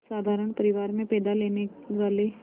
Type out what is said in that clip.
साधारण परिवार में पैदा लेने वाले